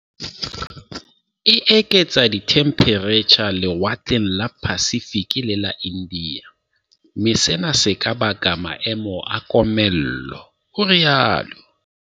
"E eketsa dithemphereitjha lewatleng la Pacific le Ia India, mme sena se ka baka maemo a komello," o rialo.